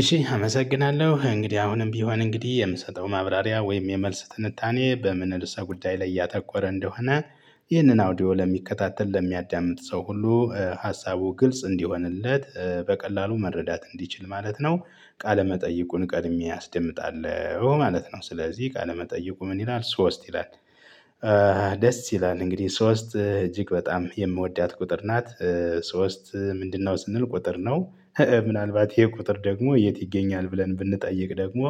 እሺ አመሰግናለሁ እንግዲህ አሁንም ቢሆን እንግዲህ የምሰጠው ማብራሪያ ወይም የመልስ ትንታኔ በምን ር እሰ ጉዳይ ላይ ያተኮረ እንደሆነ ይህንን አውዲዮ ለሚከታተል ለሚያዳምጥ ሰው ሁሉ ሀሳቡ ግልጽ እንዲሆንለት በቀላሉ መረዳት እንዲችል ማለት ነው። ቃለመጠይቁን ቀድሜ አስደምጣለሁ ማለት ነው ስለዚህ ቃለመጠየቁ ምን ይላል ሶስት ይላል? ደስ ይላል እንግዲህ ሶስት እጅግ በጣም የምወዳት ቁጥር ናት። ሶስት ምንድነው? ስንል ቁጥር ነው። ምናልባት ይሄ ቁጥር ደግሞ የት ይገኛል? ብለን ብንጠይቅ ደግሞ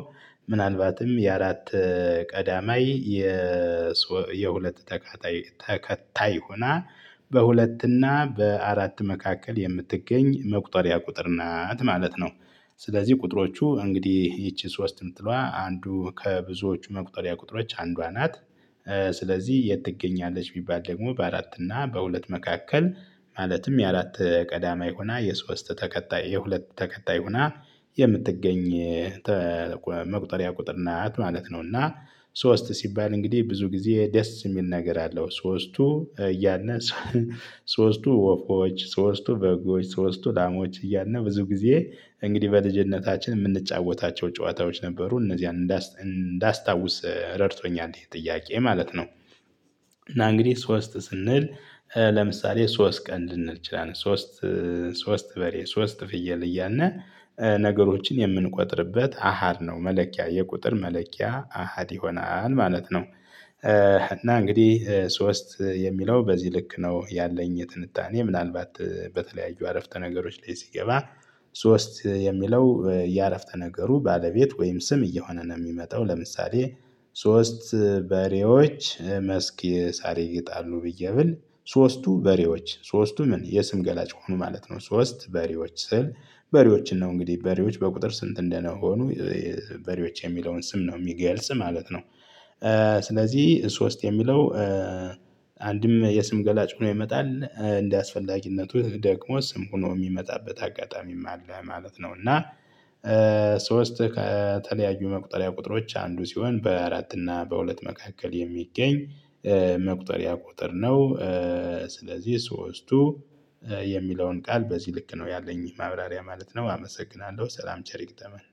ምናልባትም የአራት ቀዳማይ የሁለት ተከታይ ተከታይ ሆና በሁለትና በአራት መካከል የምትገኝ መቁጠሪያ ቁጥር ናት ማለት ነው። ስለዚህ ቁጥሮቹ እንግዲህ ይቺ ሶስት የምትለዋ አንዱ ከብዙዎቹ መቁጠሪያ ቁጥሮች አንዷ ናት። ስለዚህ የት ትገኛለች? ቢባል ደግሞ በአራት እና በሁለት መካከል ማለትም የአራት ቀዳማይ ሆና የሶስት ተከታይ የሁለት ተከታይ ሆና የምትገኝ መቁጠሪያ ቁጥር ናት ማለት ነው። እና ሶስት ሲባል እንግዲህ ብዙ ጊዜ ደስ የሚል ነገር አለው። ሶስቱ እያነ ሶስቱ ወፎች ሶስቱ በጎች ሶስቱ ላሞች እያልን ብዙ ጊዜ እንግዲህ በልጅነታችን የምንጫወታቸው ጨዋታዎች ነበሩ እነዚህን እንዳስታውስ ረድቶኛል ይሄ ጥያቄ ማለት ነው። እና እንግዲህ ሶስት ስንል ለምሳሌ ሶስት ቀን ልንል እንችላለን። ሶስት ሶስት በሬ ሶስት ፍየል እያልን ነገሮችን የምንቆጥርበት አሃድ ነው መለኪያ የቁጥር መለኪያ አሃድ ይሆናል ማለት ነው። እና እንግዲህ ሶስት የሚለው በዚህ ልክ ነው ያለኝ የትንታኔ ምናልባት በተለያዩ አረፍተ ነገሮች ላይ ሲገባ። ሶስት የሚለው የአረፍተ ነገሩ ባለቤት ወይም ስም እየሆነ ነው የሚመጣው ለምሳሌ። ሶስት በሬዎች መስክ የሳር ይግጣሉ ብዬ ብል ሶስቱ በሬዎች ሶስቱ ምን የስም ገላጭ ሆኑ ማለት ነው። ሶስት በሬዎች ስል በሬዎችን ነው እንግዲህ በሬዎች በቁጥር ስንት እንደሆኑ? በሬዎች የሚለውን ስም ነው የሚገልጽ ማለት ነው። ስለዚህ ሶስት የሚለው አንድም የስም ገላጭ ሆኖ ይመጣል እንደ አስፈላጊነቱ ደግሞ ስም ሆኖ የሚመጣበት አጋጣሚም አለ ማለት ነው። እና ሶስት ከተለያዩ መቁጠሪያ ቁጥሮች አንዱ ሲሆን በአራት እና በሁለት መካከል የሚገኝ መቁጠሪያ ቁጥር ነው። ስለዚህ ሶስቱ የሚለውን ቃል በዚህ ልክ ነው ያለኝ ማብራሪያ ማለት ነው። አመሰግናለሁ ሰላም ቸር ይግጠመን።